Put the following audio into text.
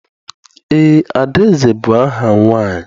Eé, Adaeze bụ aha nwaanyị.